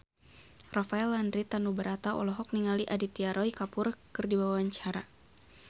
Rafael Landry Tanubrata olohok ningali Aditya Roy Kapoor keur diwawancara